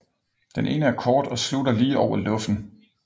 Den ene er kort og slutter lige over luffen